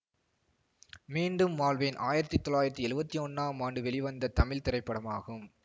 மீண்டும் வாழ்வேன் ஆயிரத்தி தொள்ளாயிரத்தி எழுவத்தி ஒன்னாம் ஆண்டு வெளிவந்த தமிழ் திரைப்படமாகும்